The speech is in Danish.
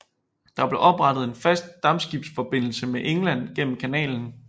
Der blev oprettet en fast dampskibsforbindelse med England gennem kanalen